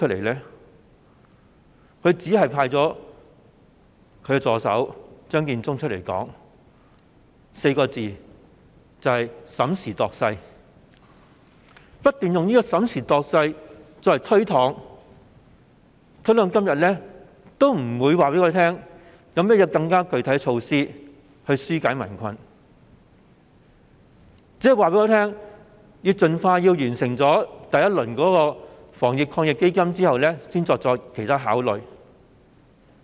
她只派出助手張建宗以"審時度勢 "4 個字不斷作出推搪，直到今天仍沒有告訴我們有何更具體措施可紓解民困，老是說要盡快完成第一輪防疫抗疫基金計劃，然後再作其他考慮。